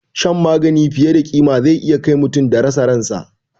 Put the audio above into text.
Shan magani fiye da ƙima zai iya kai mutum da ya rasa ransa